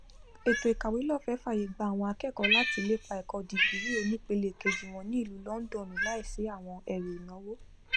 ètò ìkàwélọfẹẹ fàyè gba àwọn akẹkọọ láti lépa ẹkọ dìgírì onípele kejì wọn ní ìlú lọndọnu láìsí àwọn ẹrù ìnáwó